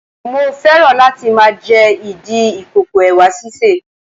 Mo féràn láti máa jẹ ìdí ìkòkò Ẹ̀wà sísè.